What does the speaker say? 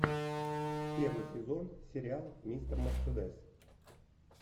первый сезон сериал мистер мерседес